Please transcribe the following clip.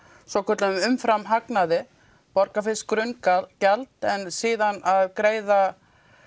svokallaðan umframhagnaði borga fyrst grunngjald en síðan að greiða